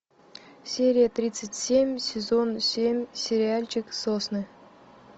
серия тридцать семь сезон семь сериальчик сосны